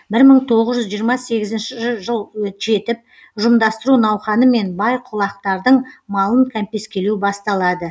бір мың тоғыз жүз жиырма сегізінші жыл жетіп ұжымдастыру науқаны мен бай құлақтардың малын кәмпескелеу басталады